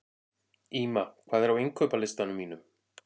Ýma, hvað er á innkaupalistanum mínum?